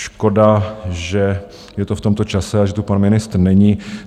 Škoda, že je to v tomto čase a že tu pan ministr není.